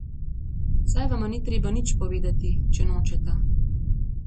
Saj vama ni treba nič povedati, če nočeta.